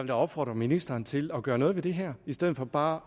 da opfordre ministeren til at gøre noget ved det her i stedet for bare